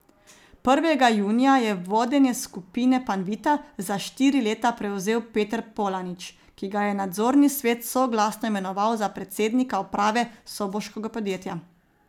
Prvega junija je vodenje Skupine Panvita za štiri leta prevzel Peter Polanič, ki ga je nadzorni svet soglasno imenoval za predsednika uprave soboškega podjetja.